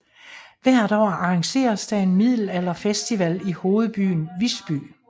Hvert år arrangeres der en middelalderfestival i hovedbyen Visby